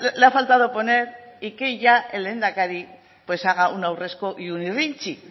le ha faltado poner y que ya el lehendakari haga un aurresku y un irrintzi